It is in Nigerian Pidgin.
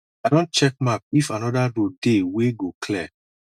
i don check map if anoda road dey wey go clear